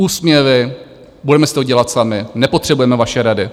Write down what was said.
Úsměvy, budeme si to dělat sami, nepotřebujeme vaše rady.